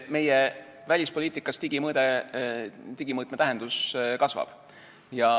Meie välispoliitikas digivaldkonna tähendus kasvab.